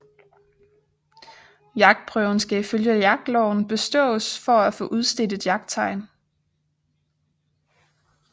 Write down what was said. Jagtprøven skal ifølge jagtloven bestås for at få udstedt et jagttegn